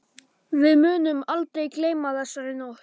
Við munum aldrei gleyma þessari nótt.